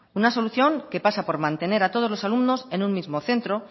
una solución que pasa por mantener a todos los alumnos en un mismo centro